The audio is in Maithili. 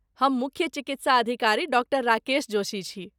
हम मुख्य चिकित्सा अधिकारी डॉ राकेश जोशी छी।